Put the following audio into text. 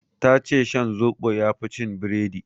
Ta ce shan zoɓo yafi cin biredi